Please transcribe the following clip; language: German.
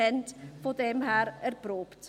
Daher ist es erprobt.